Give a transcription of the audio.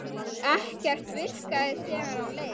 Ekkert virkaði þegar á leið.